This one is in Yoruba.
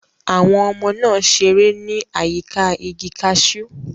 Àwọn ọmọ náà ṣeré ní àyíká igi cashew.